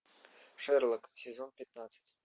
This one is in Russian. шерлок сезон пятнадцать